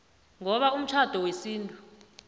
ngoba umtjhado wesintu